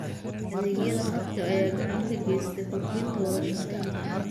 Adeegyada khadka ayaa gacan ka geysta kordhinta wada shaqaynta.